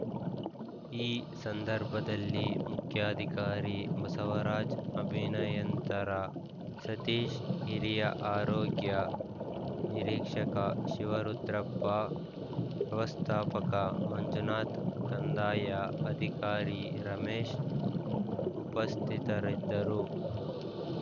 ಈ ಸಂದರ್ಭದಲ್ಲಿ ಮುಖ್ಯಾಧಿಕಾರಿ ಬಸವರಾಜ್‌ ಅಭಿನಯಂತರ ಸತೀಶ್‌ ಹಿರಿಯ ಆರೋಗ್ಯ ನಿರೀಕ್ಷಕ ಶಿವರುದ್ರಪ್ಪ ವ್ಯವಸ್ಥಾಪಕ ಮಂಜುನಾಥ್‌ ಕಂದಾಯ ಅಧಿಕಾರಿ ರಮೇಶ್‌ ಉಪಸ್ಥಿತರಿದ್ದರು